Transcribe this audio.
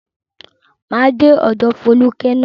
Máa dé ọ̀dọ̀ Fólúkẹ́ ná.